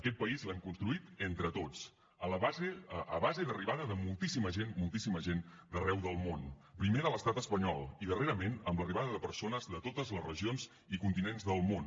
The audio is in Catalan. aquest país l’hem construït entre tots a base d’arribada de moltíssima gent moltíssima gent d’arreu del món primer de l’estat espanyol i darrerament amb l’arribada de persones de totes les regions i continents del món